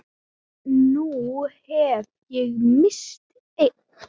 Nú hef ég misst einn.